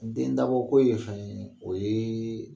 Den dabɔko ye fɛn ye o ye